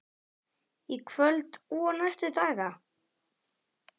Í kvöld og næstu daga?